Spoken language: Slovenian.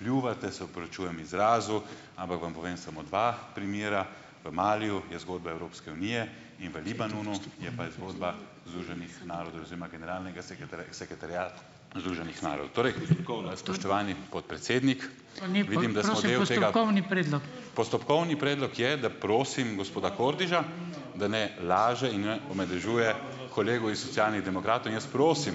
pljuvate, se opravičujem izrazu, ampak vam povem samo dva primera. V Maliju je zgodba Evropske unije in v Libanonu je pa zgodba Združenih narodov oziroma generalnega sekretariata Združenih narodov. Torej, spoštovani podpredsednik ... Postopkovni predlog je, da prosim gospoda Kordiša, da ne laže in ne omadežuje kolegov iz Socialnih demokratov in jaz prosim